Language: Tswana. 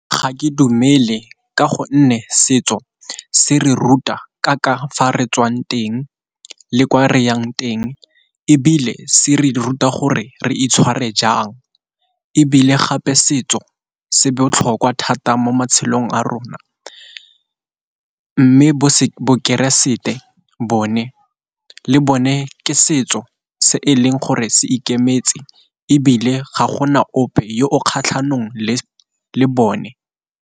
Ga ke dumele ka gonne setso se re ruta ka ka fa re tswang teng le ko reyang teng, ebile se re ruta gore re itshware jang, ebile gape setso se botlhokwa thata mo matshelong a rona. Mme bo bokeresete bone le bone ke setso se e leng gore se ikemetse, ebile ga gona ope yo o kgatlhanong le le bone.